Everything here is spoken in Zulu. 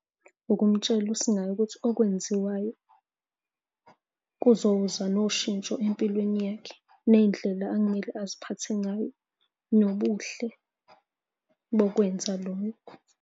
Ukumtshela usingaye ukuthi okwenziwayo kuzoza noshintsho empilweni yakhe. Nendlela ekumele aziphathe ngayo, nobuhle bokwenza lokho.